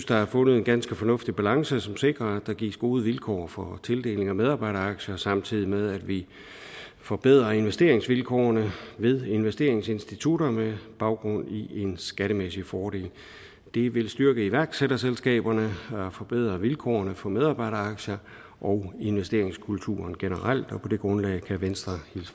der er fundet en ganske fornuftig balance som sikrer at der gives gode vilkår for tildeling af medarbejderaktier samtidig med at vi forbedrer investeringsvilkårene ved investeringsinstitutterne med baggrund i en skattemæssig fordel det vil styrke iværksætterselskaberne og forbedre vilkårene for medarbejderaktier og investeringskulturen generelt og på det grundlag kan venstre